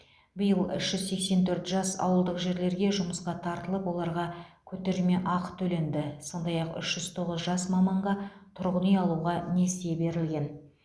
биыл үш жүз сексен төрт жас ауылдық жерлерге жұмысқа тартылып оларға көтерме ақы төленді сондай ақ үш жүз тоғыз жас маманға тұрғын үй алуға несие берілген